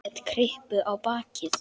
Set kryppu á bakið.